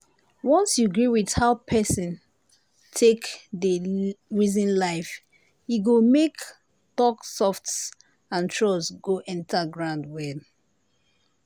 once you gree with how person take dey reason life e go make talk soft and trust go enter ground well.